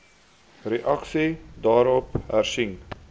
reaksie daarop hersien